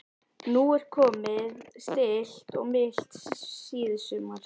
Nú er komið stillt og milt síðsumar.